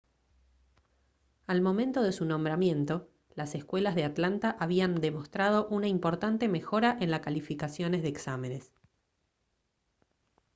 al momento de su nombramiento las escuelas de atlanta habían demostrado una importante mejora en las calificaciones de exámenes